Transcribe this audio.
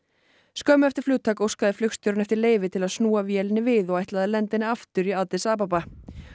skömmu eftir flutgak óskaði flugstjórinn eftir leyfi til að snúa vélinni við og ætlaði að lenda henni aftur í Addis Ababa